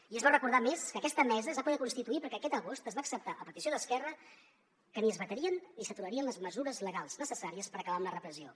i es bo recordar a més que aquesta mesa es va poder constituir perquè aquest agost es va acceptar a petició d’esquerra que ni es vetarien ni s’aturarien les mesures legals necessàries per acabar amb la repressió